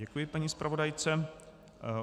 Děkuji paní zpravodajce.